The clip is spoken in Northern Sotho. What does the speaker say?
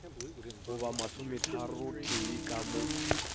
go ba masometharotee ka mo